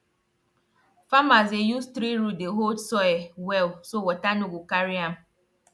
farmers dey use tree root dey hold soil well so water no go carry am